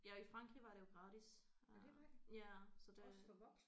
Ja i Frankrig var det jo gratis øh ja så det